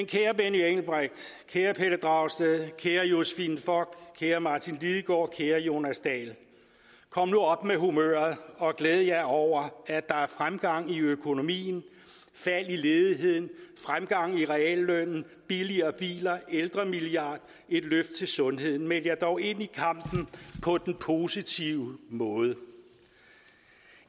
kære benny engelbrecht kære pelle dragsted kære josephine fock kære martin lidegaard kære jonas dahl kom nu op med humøret og glæd jer over at der er fremgang i økonomien fald i ledigheden fremgang i reallønnen billigere biler ældremilliard et løft til sundheden meld jer dog ind i kampen på den positive måde